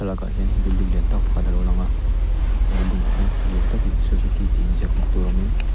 hian building lian tawk pakhat a lo lang a building ah hian lian takin suzuki tih ziak hmuh tur awm in--